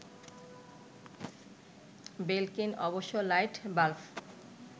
Belkin অবশ্য light bulb